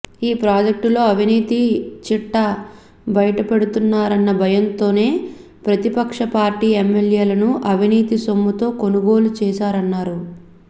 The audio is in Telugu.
ఈ ప్రాజెక్టులో అవినీతి చిట్టా బయటపెడతారన్న భయంతోనే ప్రతిపక్ష పార్టీ ఎమ్మెల్యేలను అవినీతి సొమ్ముతో కొనుగోలు చేశారన్నారు